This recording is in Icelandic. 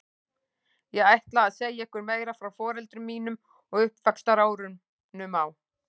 Ég ætla að segja ykkur meira frá foreldrum mínum og uppvaxtarárunum á